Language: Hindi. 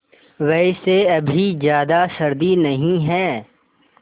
वैसे अभी ज़्यादा सर्दी नहीं है